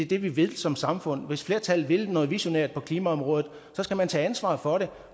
det vi vil som samfund hvis flertallet vil noget visionært på klimaområdet skal man tage ansvaret for det